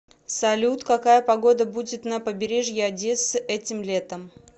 салют какая погода будет на побережье одессы этим летом